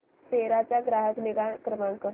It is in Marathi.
सेरा चा ग्राहक निगा क्रमांक